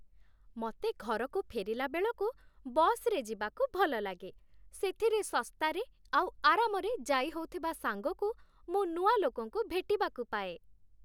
ମତେ ଘରକୁ ଫେରିଲାବେଳକୁ ବସ୍‌ରେ ଯିବାକୁ ଭଲଲାଗେ । ସେଥିରେ ଶସ୍ତାରେ ଆଉ ଆରାମରେ ଯାଇହଉଥିବା ସାଙ୍ଗକୁ ମୁଁ ନୂଆ ଲୋକଙ୍କୁ ଭେଟିବାକୁ ପାଏ ।